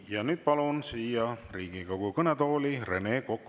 Ja nüüd palun siia Riigikogu kõnetooli Rene Koka.